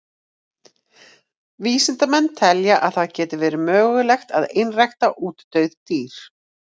Vísindamenn telja að það geti verið mögulegt að einrækta útdauð dýr.